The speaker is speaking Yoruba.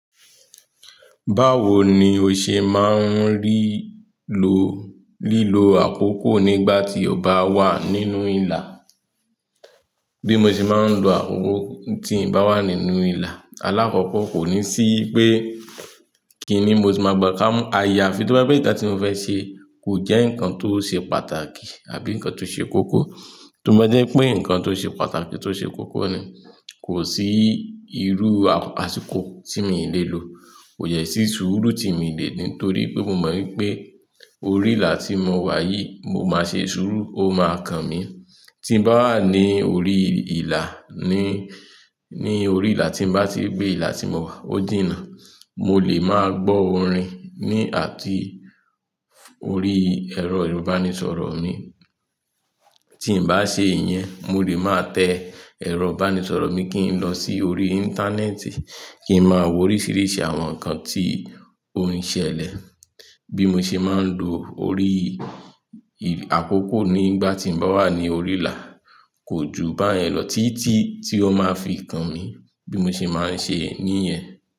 Báwo ni o ṣe máa ń rí lo, lílo àkòko nígbà tí o bá wà nínú ìlà? Bí mo ṣe máa ń lo àkoko tí n bá wà nínú ìlà. Alákòókò kò ní sí pé kí ni mo ti máa gbà ká mọ́. Àyàfi tó bá pé nkan tí mo fẹ́ ṣe kò jẹ́ nǹkan tó ṣe pàtàkì àbí ǹkan tó ṣe kókó. Tómọdé pé ǹkan tó ṣe pàtàkì tó ṣe kókó ni, kò sí irú àsìkò tí mi le lò. Kò ye sí sùúrù tí mo le dì nítorí pé mo mọ̀ wípé orí ìlà tí mo wà yìí mo máa ṣe sùúrù ó máa kan mi. Tí n bá wà ní orí ìlà ni, ní orí ìlà tí n bá ti gbé ìlà tí mo wà ó jìnnà. Mo lè máa gbọ́ orin ní àti orí ẹ̀rọ ìbánisọ̀rọ̀ mi. Tí n bá ṣe ìyẹn, mo lè máa tẹ ẹ̀rọ ìbánisọ̀rọ̀ mi kí n lọ sí orí Íńtánẹ́ẹ̀tì kí n máa wo oríṣìíríṣìí àwọn nǹkan tí ó ń ṣẹlẹ̀. Bí mo ṣe máa ń lo orí àkòkọ̀ nígbà tí n bá wà ní orí ìlà kò ju báyẹn lọ títí tí ó máa fi kan mi bí mo ṣe máa ń ṣe níyẹn.